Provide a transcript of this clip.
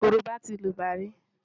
Korobá ti lògbà rí.